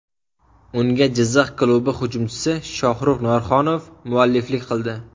Unga Jizzax klubi hujumchisi Shohruz Norxonov mualliflik qildi.